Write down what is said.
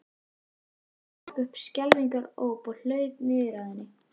Systir hennar rak upp skelfingaróp og laut niður að henni.